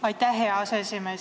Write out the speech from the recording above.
Aitäh, hea aseesimees!